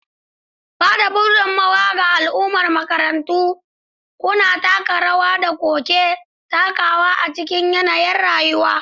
Ba da gudummawa ga al'ummar makarantarku, kuna taka rawar da kuke takawa a cikin yanayin yanayin rayuwa.